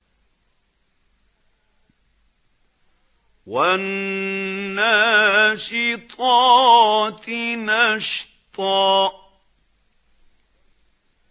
وَالنَّاشِطَاتِ نَشْطًا